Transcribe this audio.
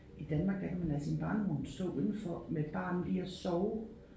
I Danmark der kan man lade sin barnevogn stå udenfor med et barn i og sove